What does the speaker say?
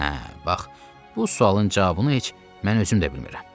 Hə, bax bu sualın cavabını heç mən özüm də bilmirəm.